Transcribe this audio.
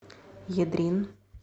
ядрин